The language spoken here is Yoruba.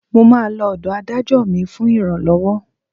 Mo máa lọ ọ̀dọ̀ Adájọ́ mi fún ìrànlọ́wọ́